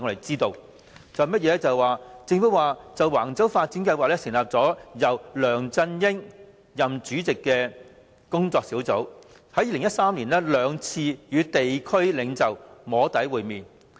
政府表示，就橫洲房屋發展計劃成立由梁振英出任主席的跨部門工作小組，於2013年曾兩度與地區領袖"摸底"會面。